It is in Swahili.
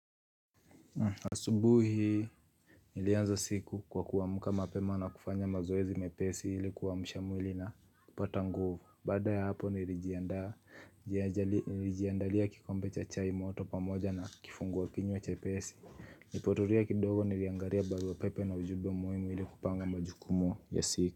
Asubuhi, nilianza siku kwa kuamka mapema na kufanya mazoezi mepesi ili kuamsha mwili na kupata nguvu. Baada ya hapo nilijiandalia kikombe cha chai moto pamoja na kifungua kinywa chepesi. Nilipotulia kidogo niliangalia baruapepe na ujumbe muhimu ili kupanga majukumu ya siku.